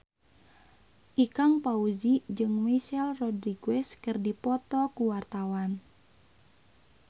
Ikang Fawzi jeung Michelle Rodriguez keur dipoto ku wartawan